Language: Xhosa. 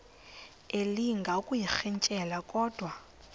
elinga ukuyirintyela kodwa